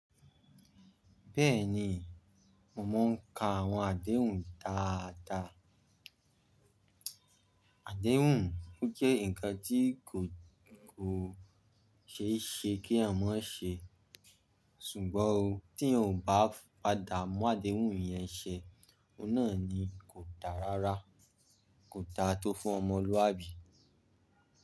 Bẹ́ẹ̀ni mo máa ń ka àwọn àdéhùn dáa dá. Àdéhùn, ó jẹ́ ǹkan tí kò, kò ṣeéṣe kí èèyàn mọ ṣe, ṣùgbọ́n ó tí èèyàn ó bá padà mú àdéhùn yẹn ṣe, ọ̀un nà ni kò dáa rárá, kò dáa tó fún ọmọlúàbí.